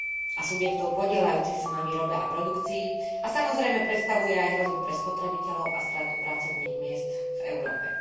a subjektov podieľajúcich sa na výrobe a produkcii a samozrejme predstavuje aj hrozbu pre spotrebiteľov a stratu pracovných miest v Európe.